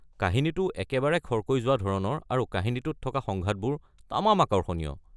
কাহিনীটোও একেবাৰে খৰকৈ যোৱা ধৰণৰ আৰু কাহিনীটোত থকা সংঘাতবোৰ তামাম আকৰ্ষণীয়।